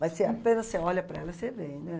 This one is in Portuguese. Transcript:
Mas você apenas você olha para ela, você vem, né.